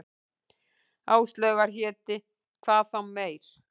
Áslaugar héti, hvað þá meir.